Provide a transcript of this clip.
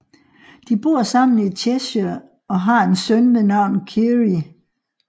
De bor sammen i Cheshire og har en søn ved navn Kyrie